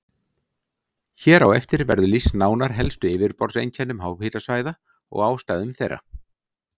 Hér á eftir verður lýst nánar helstu yfirborðseinkennum háhitasvæða og ástæðum þeirra.